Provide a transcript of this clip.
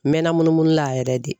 N mɛɛnna munumunu la yɛrɛ de.